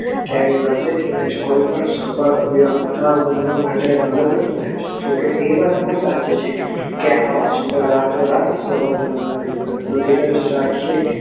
ક્યાંય માનસિક image કોઈ પણ સફળ બનવા મદદ રૂપ થાય છે માટે જોકે એ વાત પણ સાચી છે કે આવાજ ક્ષેત્રમાં સર્વસ્થાન ઉભીરજ રાખી